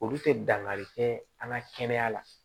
Olu tɛ dankari kɛ an ka kɛnɛya la